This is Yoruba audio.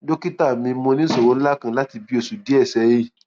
dókítà mi mo ní ìṣòro ńlá kan láti nǹkan bí oṣù díẹ sẹyìn